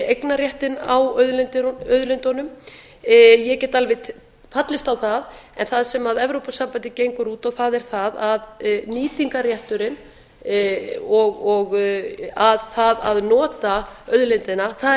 eignarréttinn á auðlindunum ég get alveg fallist á það en það sem evrópusambandið gengur út á er það að nýtingarrétturinn og það að nota auðlindina það er